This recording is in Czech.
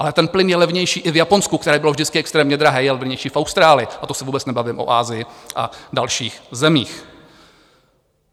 Ale ten plyn je levnější i v Japonsku, které bylo vždycky extrémně drahé, je levnější v Austrálii, a to se vůbec nebavím o Asii a dalších zemích.